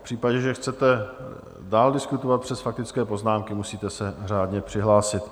V případě, že chcete dál diskutovat přes faktické poznámky, musíte se řádně přihlásit.